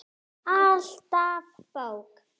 Alltaf bók.